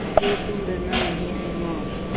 हैतुम डरना नहीं अम्मा